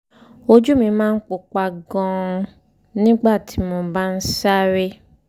ojú mi máa ń pupa gan-an nígbà tí mo bá ń sáré